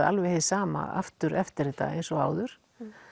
alveg hið sama aftur eftir þetta eins og áður